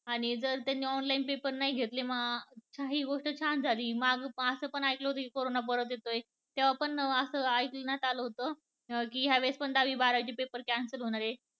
आणि जर त्यांनी तर online paper नाही घेतले. हि गोष्ट छान झाली आणि असं पण ऐकलं होत की करोना परत येतोय तेव्हा पण असं ऐकलं होत की ह्या वेळेस पण दहावी बारावी चे paper पण cancel होणार आहेत